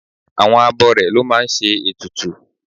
Àwọn abọrẹ̀ ló máa ń ṣe ètùtù